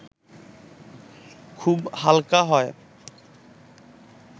খুব হালকা হয়